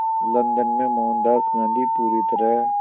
London में मोहनदास गांधी पूरी तरह